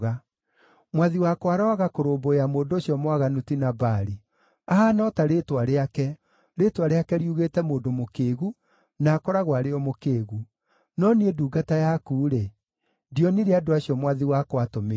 Mwathi wakwa aroaga kũrũmbũiya mũndũ ũcio mwaganu ti Nabali. Ahaana o ta rĩĩtwa rĩake, rĩĩtwa rĩake riugĩte mũndũ mũkĩĩgu, na akoragwo arĩ o mũkĩĩgu. No niĩ ndungata yaku-rĩ, ndionire andũ acio mwathi wakwa aatũmĩte.